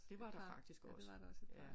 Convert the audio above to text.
Det var der faktisk også ja